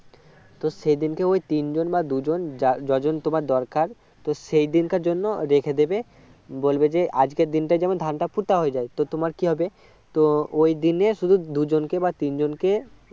তো সেদিন কে ওই তিন জন বা দু জন যা~ যতজন তোমার দরকার তো সেই দিনকার জন্য রেখে দেবে বলবে যে আজকের দিনটা যেন ধনটা পোতা হয়ে যায় তোমার কি হবে তো ওই দিনে শুধু দু জন কে তিনজনকে